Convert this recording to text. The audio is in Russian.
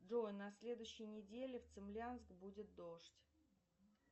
джой на следующей неделе в цимлянск будет дождь